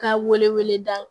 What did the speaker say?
Ka wele wele da